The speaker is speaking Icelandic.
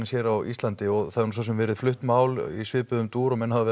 hér á Íslandi það hefur svosem verið flutt mál í svipuðum dúr og menn hafa